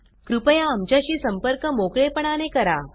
कृपया आमच्याशी संपर्क मोकळेपणाने करा